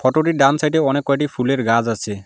Photo -টির ডান সাইটে অনেক কয়টি ফুলের গাছ আছে।